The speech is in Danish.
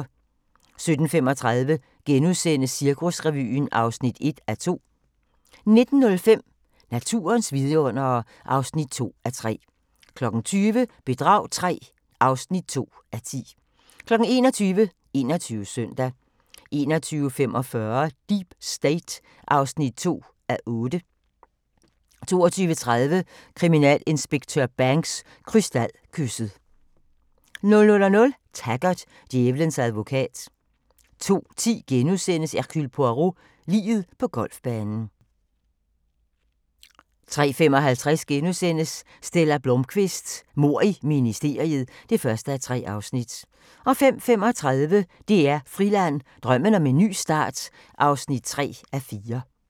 17:35: Cirkusrevyen (1:2)* 19:05: Naturens vidundere (2:3) 20:00: Bedrag III (2:10) 21:00: 21 Søndag 21:45: Deep State (2:8) 22:30: Kriminalinspektør Banks: Krystalkysset 00:00: Taggart: Djævelens advokat 02:10: Hercule Poirot: Liget på golfbanen * 03:55: Stella Blómkvist: Mord i ministeriet (1:3)* 05:35: DR Friland: Drømmen om en ny start (3:4)